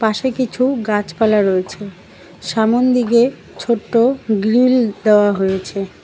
পাশে কিছু গাছপালা রয়েছে সামন দিগে ছোট্ট গ্রীল দেওয়া হয়েছে।